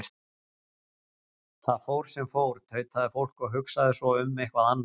Það fór sem fór, tautaði fólk, og hugsaði svo um eitthvað annað.